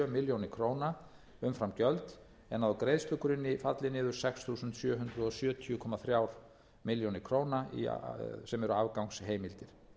milljónir króna umfram gjöld en að á greiðslugrunni falli niður sex þúsund sjö hundruð sjötíu komma þremur milljónum króna sem eru afgangsheimildir